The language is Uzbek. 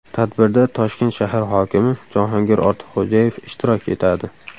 Tadbirda Toshkent shahar hokimi Jahongir Ortiqxo‘jayev ishtirok etadi.